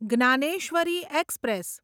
Dnyaneshwari express